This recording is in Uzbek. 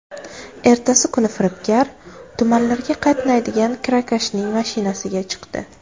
Ertasi kuni firibgar tumanlarga qatnaydigan kirakashning mashinasiga chiqdi.